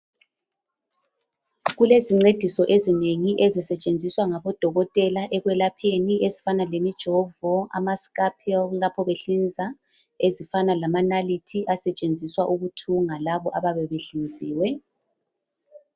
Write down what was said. Kulezincediso ezinengi ezisetshenziswa ngabodokotela ekwelapheni ezifana lemijovo, ama"scalpel" lapho behlinza ,ezifana lamanalithi asetshenziswa ukuthunga labo abayabe behlinziwe.